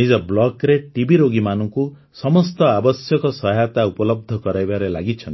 ନିଜ ବ୍ଲକ୍ରେ ଟିବି ରୋଗୀମାନଙ୍କୁ ସମସ୍ତ ଆବଶ୍ୟକ ସହାୟତା ଉପଲବ୍ଧ କରାଇବାରେ ଲାଗିଛନ୍ତି